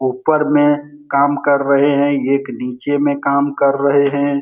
ऊपर में काम कर रहे है एक नीचे में काम कर रहे है।